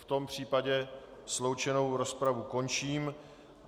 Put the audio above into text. V tom případě sloučenou rozpravu končím.